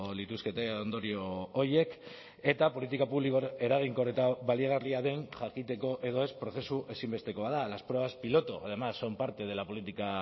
lituzkete ondorio horiek eta politika publiko eraginkor eta baliagarria den jakiteko edo ez prozesu ezinbestekoa da las pruebas piloto además son parte de la política